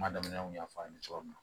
Kuma daminɛ n y'a fɔ a ye cogo min na